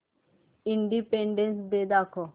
independence Day दाखव